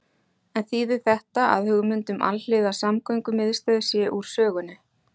En þýðir þetta að hugmynd um alhliða samgöngumiðstöð sé úr sögunni?